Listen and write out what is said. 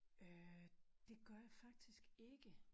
Øh det gør jeg faktisk ikke